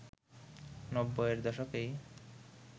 নব্বইয়ের দশকেই